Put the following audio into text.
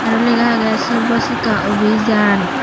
aro lega agey sarvasikka avijan.